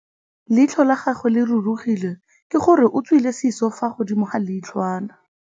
Leitlhô la gagwe le rurugile ka gore o tswile sisô fa godimo ga leitlhwana.